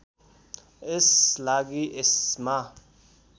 यस लागि यसमा